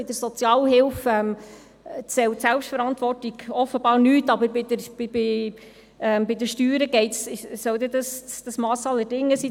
Bei der Sozialhilfe zählt Selbstverantwortung offenbar nichts, aber bei den Steuern soll die Selbstverantwortung dann das Mass aller Dinge sein.